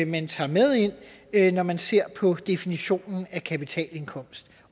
man tager med ind når man ser på definitionen af kapitalindkomst